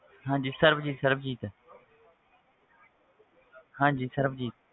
ਹਾਂਜੀ ਸਰਬਜੀਤ ਸਰਬਜੀਤ ਹਾਂਜੀ ਸਰਬੀਤ